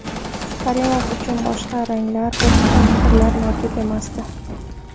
Karimov uchun boshqa ranglar, boshqa fikrlar mavjud emasdi.